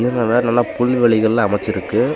நல்லா வேற நல்லா புல்வெளிகள் அமச்சிருக்கு.